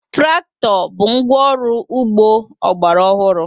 Traktọ bụ ngwá ọrụ ugbo ọgbara ọhụrụ.